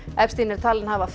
epstein er talinn hafa